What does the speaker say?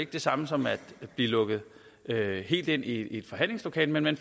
det samme som at blive lukket helt ind i forhandlingslokalet men man